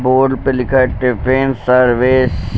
Board पे लिखा है टिफिन सर्विस ।